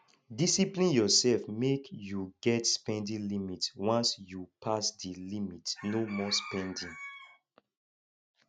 discipline urself mek yu get spending limit once yu pass di limit no more spending